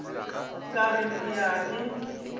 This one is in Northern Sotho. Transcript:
ka re ke a e